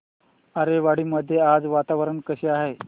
आरेवाडी मध्ये आज वातावरण कसे आहे